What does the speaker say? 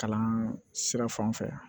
Kalan sira fan fɛ